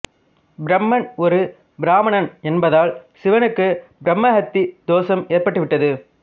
பிரம்மன் ஒரு பிராமணன் என்பதால் சிவனுக்கு பிரம்மஹத்தி தோஷம் ஏற்பட்டுவிட்டது